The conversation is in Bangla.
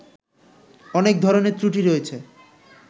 অনেক ধরণের ত্রুটি রয়েছে